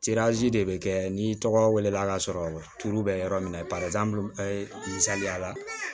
de bɛ kɛ ni tɔgɔ wele la k'a sɔrɔ turu bɛ yɔrɔ min na misaliya la